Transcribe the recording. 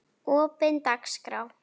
opin dagskrá